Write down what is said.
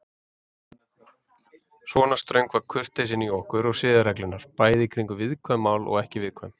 Svona ströng var kurteisin í okkur og siðareglurnar, bæði kringum viðkvæm mál og ekki viðkvæm.